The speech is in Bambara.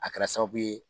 A kɛra sababu ye